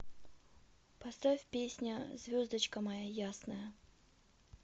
поставь песня звездочка моя ясная